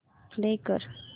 play कर